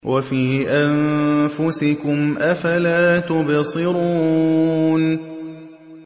وَفِي أَنفُسِكُمْ ۚ أَفَلَا تُبْصِرُونَ